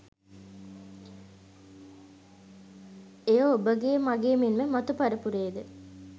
එය ඔබගේ මගේ මෙන්ම මතු පරපුරේද